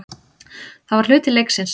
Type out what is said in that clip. Það var hluti leiksins.